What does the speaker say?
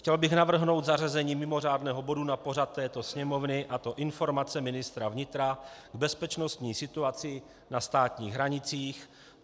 Chtěl bych navrhnout zařazení mimořádného bodu na pořad této Sněmovny, a to Informace ministra vnitra k bezpečnostní situaci na státních hranicích.